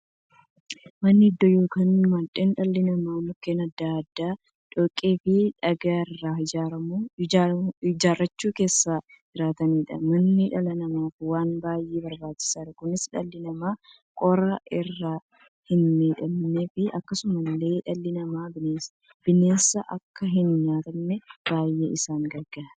Manni iddoo yookiin mandhee dhalli namaa mukkeen adda addaa, dhoqqeefi dhagaa irraa ijaarachuun keessa jiraataniidha. Manni dhala namaaf waan baay'ee barbaachisaadha. Kunis, dhalli namaa qorraan akka hinmiidhamneefi akkasumas dhalli namaa bineensaan akka hinnyaatamneef baay'ee isaan gargaara.